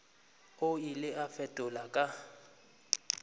o ile a fetola ka